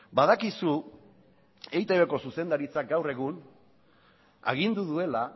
badakizu eitbko zuzendaritzak gaur egun agindu duela